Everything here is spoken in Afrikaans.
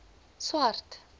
swart